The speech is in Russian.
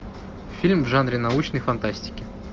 фильм в жанре научной фантастики